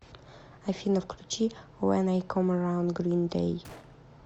афина включи вэн ай ком эраунд грин дэй